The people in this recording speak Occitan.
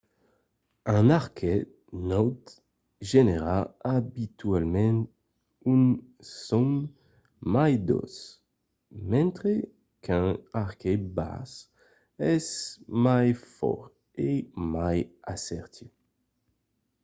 un arquet naut genèra abitualament un son mai doç mentre qu’un arquet bas es mai fòrt e mai assertiu